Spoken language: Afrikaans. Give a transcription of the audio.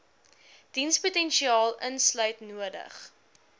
dienspotensiaal insluit nodig